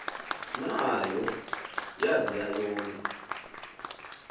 nayo yazia yome